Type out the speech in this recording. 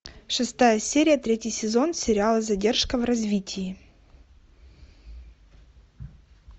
шестая серия третий сезон сериала задержка в развитии